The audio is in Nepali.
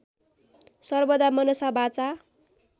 सर्वदा मनसा वाचा